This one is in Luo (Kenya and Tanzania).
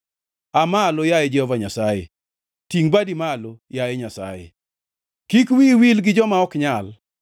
Aa malo yaye Jehova Nyasaye! Tingʼ badi malo, yaye Nyasaye. Kik wiyi wil gi joma ok nyal.